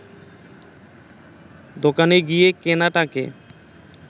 দোকানে গিয়ে কেনাটাকে